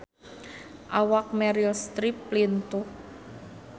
Awak Meryl Streep lintuh